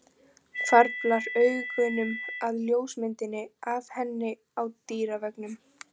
Hvarflar augunum að ljósmyndinni af henni á dyraveggnum.